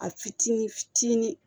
A fitinin fitinin